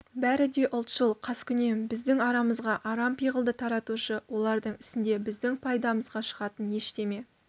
бәрі де ұлтшыл қаскүнем біздің арамызға арам пиғылды таратушы олардың ісінде біздің пайдамызға шығатын ештеме